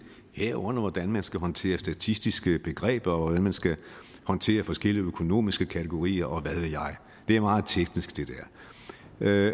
herunder hvordan man skal håndtere statistiske begreber og hvordan man skal håndtere forskellige økonomiske kategorier og hvad ved jeg det er meget teknisk det